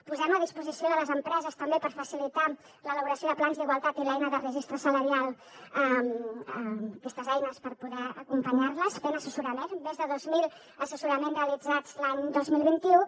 posem a disposició de les empreses també per facilitar l’elaboració de plans d’igualtat i l’eina de registre salarial aquestes eines per poder acompanyar les fent assessorament més de dos mil assessoraments realitzats l’any dos mil vint u